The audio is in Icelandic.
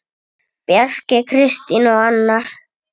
Bjarki, Kristín og Anna.